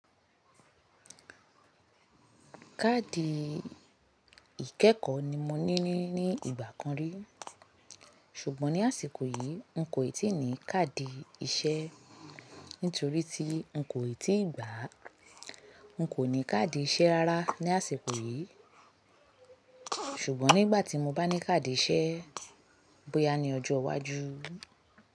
Káàdì ìkẹ́kọ̀ọ́ ni mo ní ìgbà kan rí. Sùgbọ́n ní àsìkò yìí, n kò í tíì ní káàdì iṣẹ́. Nítorí tí n kò í tíì gbà. N kò ní káàdì iṣẹ́ rárá ní àsìkò yìí. Sùgbọ́n nígbà tí mo bá ní káàdì iṣẹ́, bóyá ní ọjọ́ iwájú.